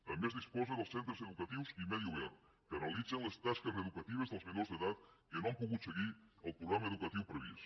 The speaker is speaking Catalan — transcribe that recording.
també es disposa dels centres educatius i medi obert que realitzen les tasques reeducatives dels menors d’edat que no han pogut seguir el programa educatiu previst